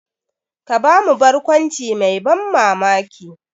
Ka ba mu barkwanci mai ban mamaki.